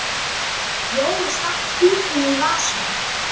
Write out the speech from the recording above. Jói stakk pípunni í vasann.